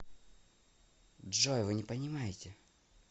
джой вы не понимаете